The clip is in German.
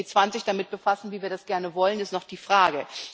Ob sich die G20 damit befassen, wie wir das gerne wollen, ist noch die Frage.